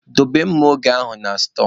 Dobe mma oge ahụ na stọọ!